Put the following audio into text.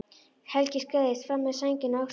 Helgi skreiðist fram með sængina á öxlunum.